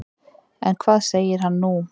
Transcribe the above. En hvað segir hann nú?